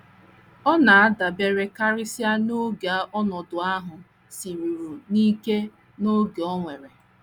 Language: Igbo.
Ọ na - adabere karịsịa n’ókè ọnọdụ ahụ siruru n’ike na oge o were.